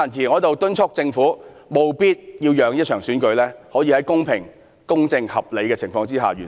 我在此敦促政府，務必讓這場選舉可以在公平、公正和合理的情況下完成。